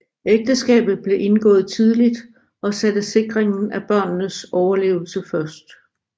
Ægteskabet blev indgået tidligt og satte sikringen af børnenes overlevelse først